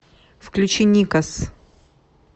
включи никос